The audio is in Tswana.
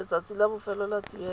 letsatsi la bofelo la tuelo